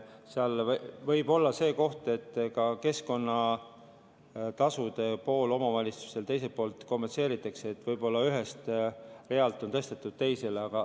Seal võib olla see, et ka keskkonnatasude pool omavalitsustele teiselt poolt kompenseeritakse, võib-olla on ühelt realt tõstetud teisele.